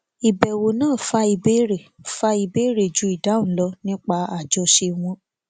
ìbèwò náà fa ìbéèrè fa ìbéèrè jù ìdáhùn lọ nípa àjọṣe wọn